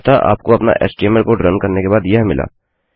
अतः आपको अपना htmlएचटीएमएलकोड रन करने के बाद यह मिला